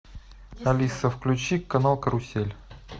алиса включи канал карусель